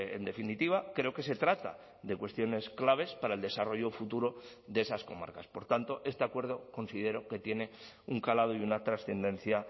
en definitiva creo que se trata de cuestiones claves para el desarrollo futuro de esas comarcas por tanto este acuerdo considero que tiene un calado y una trascendencia